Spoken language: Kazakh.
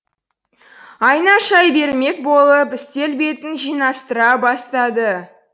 айна шай бермек болып үстел бетін жинастыра бастады